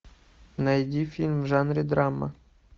найди фильм в жанре драма